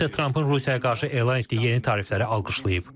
Qudda Trampın Rusiyaya qarşı elan etdiyi yeni tarifləri alqışlayıb.